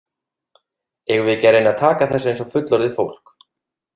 Eigum við ekki að reyna að taka þessu eins og fullorðið fólk?